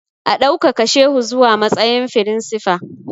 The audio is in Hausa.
A ɗaukaka shehu zuwa matsayin firinsifa!